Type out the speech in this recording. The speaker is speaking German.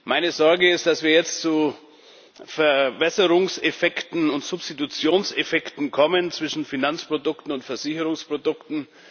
Meine Sorge ist, dass wir jetzt zu Verwässerungseffekten und Substitutionseffekten kommen zwischen Finanzprodukten und Versicherungsprodukten.